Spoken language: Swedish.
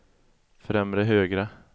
främre högra